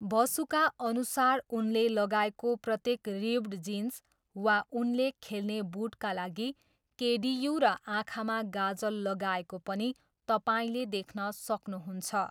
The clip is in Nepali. बसुका अनुसार उनले लगाएको प्रत्येक रिप्ड जिन्स वा उनले खेल्ने बुटका लागि केडियू र आँखामा गाजल लगाएको पनि तपाईँले देख्न सक्नुहुन्छ।